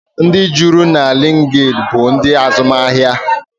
Ndị juru na liinkid bụ ndị azụmahịa.